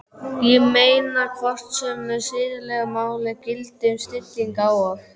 Ég meina, hvort sömu siðalögmál gildi um snillinga og